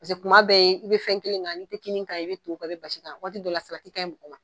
Paseke kuma bɛɛ i bɛ fɛn kelen kan, ni tɛ kini kan, i bɛ to kan, i bɛ basi kan waati dɔ la salati kaɲi mɔgɔ ma.